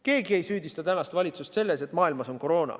Keegi ei süüdista valitsust selles, et maailmas on koroona.